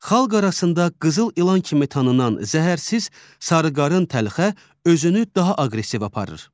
Xalq arasında qızıl ilan kimi tanınan zəhərsiz sarıqarın təlxə özünü daha aqressiv aparır.